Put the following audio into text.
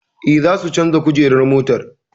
Eh, za su canja kujerar motar